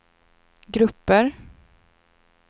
grupper